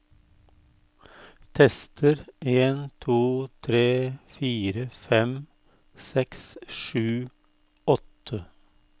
Tester en to tre fire fem seks sju åtte